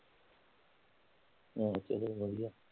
ਹਾਲ ਤੇਰੇ ਵਧੀਆ।